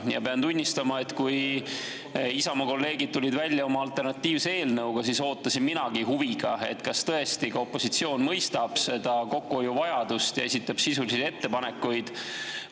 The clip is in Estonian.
Ja pean tunnistama, et kui Isamaa kolleegid tulid välja oma alternatiivse eelnõuga, siis ootasin minagi huviga, kas tõesti ka opositsioon mõistab kokkuhoiuvajadust ja esitab sisulisi ettepanekuid.